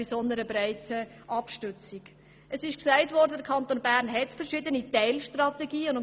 Gesagt wurde, dass der Kanton Bern verschiedene Teilstrategien hat.